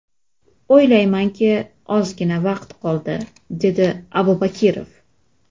O‘ylaymanki, ozgina vaqt qoldi”, – dedi Abubakirov.